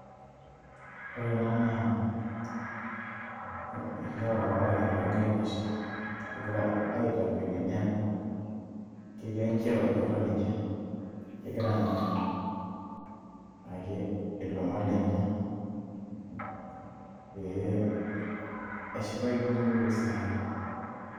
ore ena naa ilewa ware ogira aitashe egira aitakwenia neeku ketii enchipai atua ninche ,egira aang'ar ake ilomon lenye pee eshipayu nepuo sai.